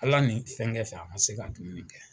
Ala ni fɛnkɛ fɛ ,a ma se ka dumuni kɛ.